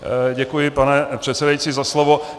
Děkuji, pane předsedající, za slovo.